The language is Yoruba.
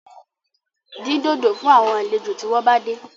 Dín dòdò fún àwọn àlejò tí wọ́n bá dé